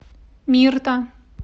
мирта